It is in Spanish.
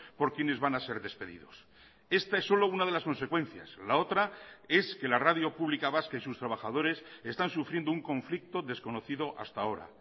por quienes van a ser despedidos esta es solo una de las consecuencias la otra es que la radio pública vasca y sus trabajadores están sufriendo un conflicto desconocido hasta ahora